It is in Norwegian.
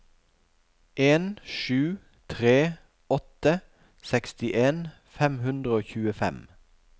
en sju tre åtte sekstien fem hundre og tjuefem